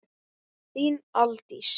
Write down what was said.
Þín, Aldís.